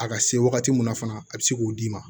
A ka se wagati min na fana a bi se k'o d'i ma